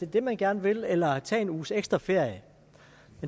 det man gerne vil eller tage en uges ekstra ferie det